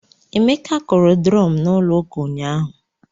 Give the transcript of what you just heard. Emeka kụrụ drum n'ụlọ ụka nyahu